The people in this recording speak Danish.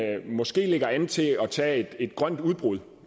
måske lægger an til at tage et grønt udbrud